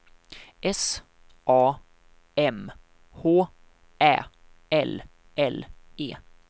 S A M H Ä L L E